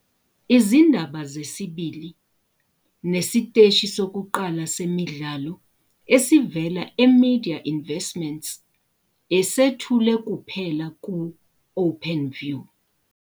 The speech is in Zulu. Izindaba zesibili nesiteshi sokuqala sezemidlalo esivela eMedia Investments esethule kuphela ku-Openview.